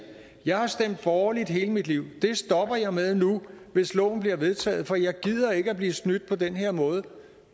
jeg har stemt borgerligt hele mit liv det stopper jeg med nu hvis loven bliver vedtaget for jeg gider ikke at blive snydt på den her måde